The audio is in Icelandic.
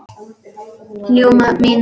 Ljóma mín!